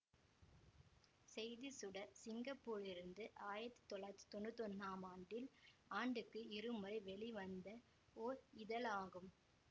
செய்திச்சுடர் சிங்கப்பூரிலிருந்து ஆயிரத்தி தொள்ளாயிரத்தி தொன்னூத்தி ஒன்னாம் ஆண்டில் ஆண்டுக்கு இருமுறை வெளிவந்த ஓர் இதழாகும்